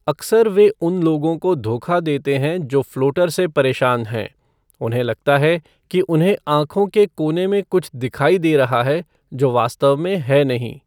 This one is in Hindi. अक्सर वे उन लोगों को धोखा देते हैं जो फ़्लोटर से परेशान हैं, उन्हें लगता है कि उन्हें आँखों के कोने में कुछ दिखाई दे रहा है जो वास्तव में है नहीं।